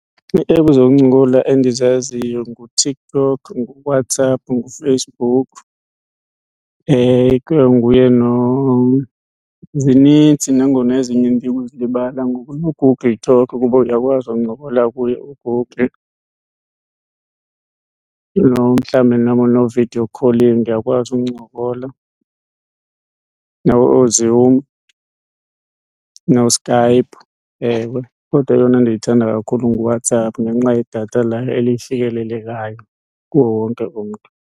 Ii-app zokuncokola endizaziyo nguTikTok, nguWhatsApp nguFacebook, ikwanguye , zinintsi nangona ezinye ndibuzilibala ngoku. NoGoogle Talk kuba uyakwazi ukuncokola kuye uGoogle. mhlawumbi nabo no-video calling uyakwazi uncokola, nabo ooZoom noSkype, ewe. Kodwa eyona ndiyithanda kakhulu nguWhatsApp ngenxa yedatha layo elifikelelekayo kuwo wonke umntu.